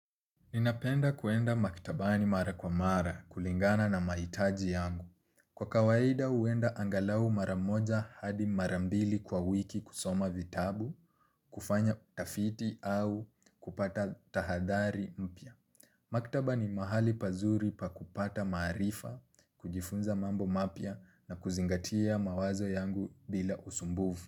Ninapenda kwenda maktabani mara kwa mara kulingana na mahitaji yangu. Kwa kawaida huenda angalau mara moja hadi mara mbili kwa wiki kusoma vitabu, kufanya utafiti au kupata tahadhari mpya. Maktaba ni mahali pazuri pa kupata maarifa, kujifunza mambo mapya na kuzingatia mawazo yangu bila usumbufu.